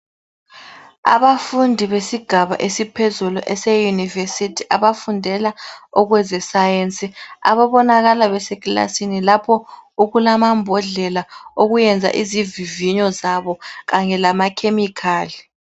Abafundi besigaba esiphezulu eseyunivesithi abafundela okwezesayensi ababonakala besekilasini lapho okulamambodlela okuyenza izivivinyo zabo kanye lama chemical.